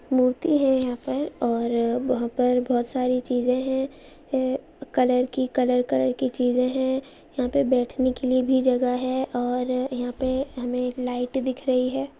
मोती है। यहां पर और वहा पर बहुत सारी चीजे है। अ कलर की कलर कलर की चीजे है। यहां पे बैठने के लिए भी जगह है। और अ यहाँ पे हमे एक लाइट दिख रही है।